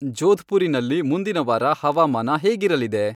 ಜೋಧ್ಪುರಿನಲ್ಲಿ ಮುಂದಿನ ವಾರ ಹವಾಮಾನ ಹೇಗಿರಲಿದೆ